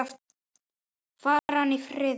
Fari hann í friði.